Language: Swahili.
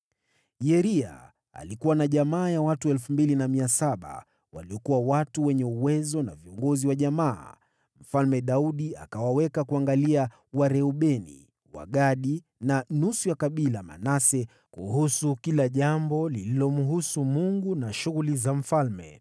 Yeria alikuwa na jamaa ya watu 2,700 waliokuwa watu wenye uwezo na viongozi wa jamaa, naye Mfalme Daudi akawaweka kuangalia Wareubeni, Wagadi na nusu ya kabila Manase kuhusu kila jambo lililomhusu Mungu na shughuli za mfalme.